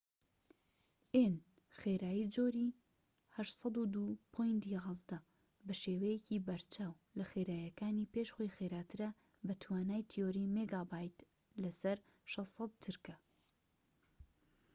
خێرایی جۆری 802.11‏‎ n ‎بەشێوەیەکی بەرچاو لە خێراییەکانی پێش خۆی خێراترە بە توانای تیۆری 600‏‎ مێگابیت/چرکە